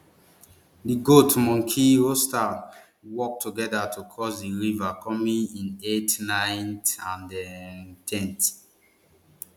di goat monkey and rooster work togeda to cross di river coming in eighth ninth and um ten th